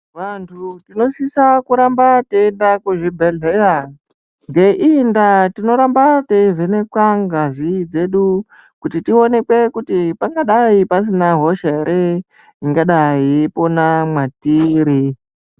Vanhu tinosisa kuramba teiyenda kuzvibhedhlera ngeiyi ndaa tinoramba teivhenekwa ngazi dzedu kuti tionekwe kuti pangadai pasina hosha here ingadai iyipona mwatiri.